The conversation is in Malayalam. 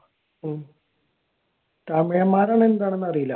തമിഴന്മാരാണോ എന്താണോന്ന് അറിയില്ല.